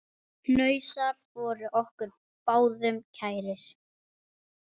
Hnausar voru okkur báðum kærir.